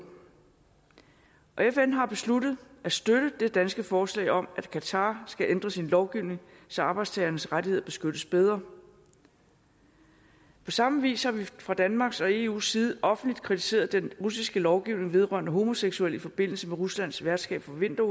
fn har besluttet at støtte det danske forslag om at qatar skal ændre sin lovgivning så arbejdstagernes rettigheder beskyttes bedre på samme vis har vi fra danmarks og eus side offentligt kritiseret den russiske lovgivning vedrørende homoseksuelle i forbindelse med ruslands værtskab for vinter